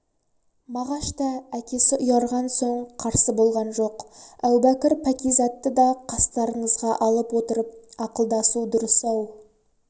мағаш та әкесі ұйарған соң қарсы болған жоқ әубәкір пәкизатты да қастарыңызға алып отырып ақылдасу дұрыс-ау